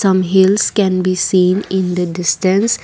some hills can be seen in the distance.